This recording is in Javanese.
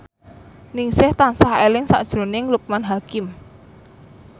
Ningsih tansah eling sakjroning Loekman Hakim